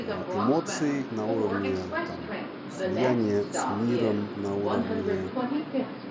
аа эмоции на уровне там слияния с миром на уровне